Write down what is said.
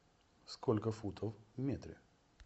сколько футов в метре